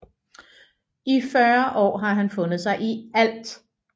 I 40 år har han fundet sig i ALT